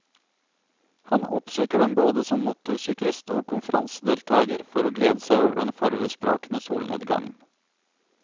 Han oppsøker den både som motorsyklist og konferansedeltager for å glede seg over den farvesprakende solnedgangen.